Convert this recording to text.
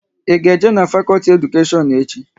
Ị ga-eje n'fakolti Edukashion echi?